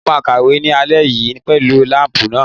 Mo máa kàwé ní alẹ́ yìí pẹ̀lú láǹpù náà.